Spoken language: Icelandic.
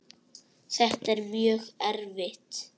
Þetta er mjög erfitt.